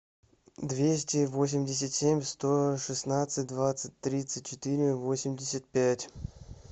двести восемьдесят семь сто шестнадцать двадцать тридцать четыре восемьдесят пять